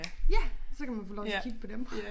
Ja så kan man få lov til at kigge på dem